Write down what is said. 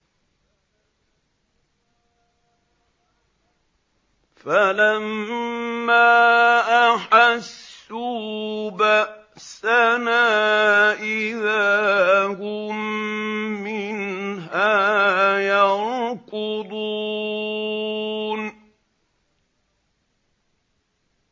فَلَمَّا أَحَسُّوا بَأْسَنَا إِذَا هُم مِّنْهَا يَرْكُضُونَ